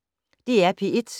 DR P1